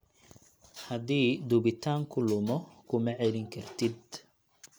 Haddii duubitaanku lumo, kuma celin kartid.